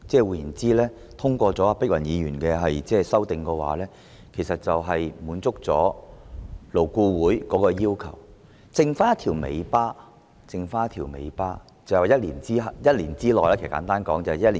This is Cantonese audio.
換言之，如黃議員的修正案獲得通過，便能滿足勞顧會的要求，餘下的只是一條尾巴，簡單來說，就是1年後將侍產假增至7天。